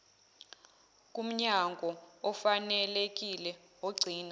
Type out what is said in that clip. kumnyango ofanelekile ogcina